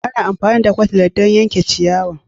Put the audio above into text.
Ana amfani da Cutlass don yanke ciyawa